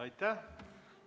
Aitäh!